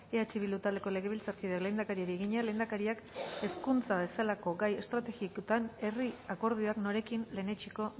eh bildu taldeko legebiltzarkideak lehendakariari egina lehendakariak hezkuntza bezalako gai estrategikoetan herri akordioak norekin lehenetsiko